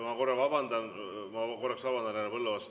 Ma korraks vabandan, härra Põlluaas!